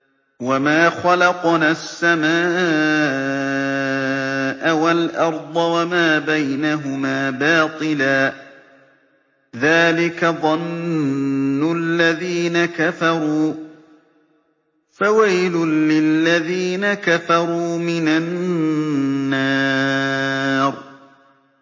وَمَا خَلَقْنَا السَّمَاءَ وَالْأَرْضَ وَمَا بَيْنَهُمَا بَاطِلًا ۚ ذَٰلِكَ ظَنُّ الَّذِينَ كَفَرُوا ۚ فَوَيْلٌ لِّلَّذِينَ كَفَرُوا مِنَ النَّارِ